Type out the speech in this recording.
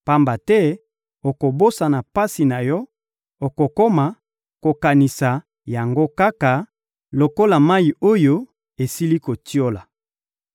pamba te okobosana pasi na yo, okokoma kokanisa yango kaka lokola mayi oyo esili kotiola.